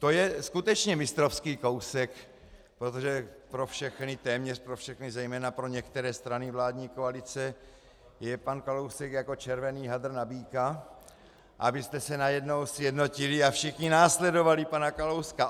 To je skutečně mistrovský kousek, protože pro všechny, téměř pro všechny, zejména pro některé strany vládní koalice je pan Kalousek jako červený hadr na býka, abyste se najednou sjednotili a všichni následovali pana Kalouska.